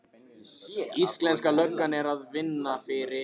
Íslenska löggan er að vinna fyrir